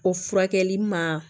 O furakɛli ma